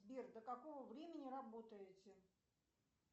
сбер до какого времени работаете